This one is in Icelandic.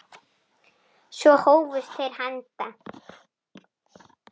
Svo hófust þeir handa.